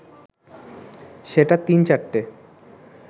সেটা তিন-চারটে